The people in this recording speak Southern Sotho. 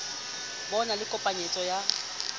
ho na le kopanyetso ya